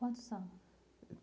Quantos são?